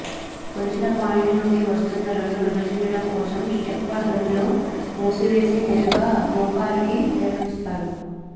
కొలిచిన పాయింట్లు నుండి వస్తున్న రెండు విభజించటం కోసం స్టెప్పర్ గనిలో మూసివేసి నేరుగా మోకాలికి నిర్వహిస్తారు